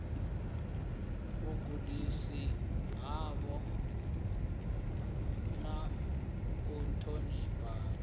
vhagudisi vhavho na u ṱhonifhana